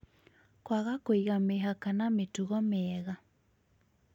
Kwaga kũiga mĩhaka na mĩtugo mĩega